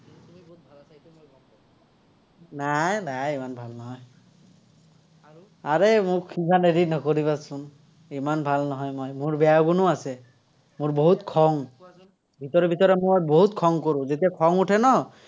নাই নাই, ইমান ভাল নহয়। আৰে মোক ইমান হেৰি নকৰিবাচোন। ইমান ভাল নহয় মই, মোৰ বেয়া গুণো আছে। মোৰ বহুত খং। ভিতৰে ভিতৰে মোৰ বহুত খং কৰো, যেতিয়া খং উঠে ন,